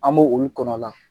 An bɛ olu kɔnɔ a la.